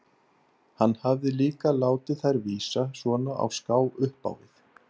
Hann hafði líka látið þær vísa svona á ská upp á við.